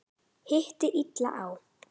Hitti illa á.